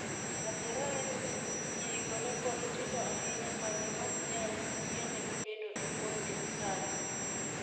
Adiera en ni, nyirigo ne pod tindo ahinya ma ne ok nyal yienegi bedo e bwo sirkal.